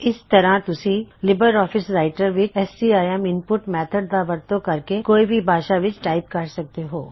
ਇਸ ਤਰੀਕੇ ਨਾਲ ਤੁਸੀਂ ਲਿਬਰ ਆਫਿਸ ਰਾਇਟਰ ਵਿੱਚ ਸੀਆਈਐੱਮ ਇਨਪੁਟ ਮੇਥਡ ਦਾ ਵਰਤੋਂ ਕਰਕੇ ਕੋਈ ਵੀ ਭਾਸ਼ਾ ਵਿੱਚ ਟਾਇਪ ਕਰ ਸਕਦੇ ਹੋ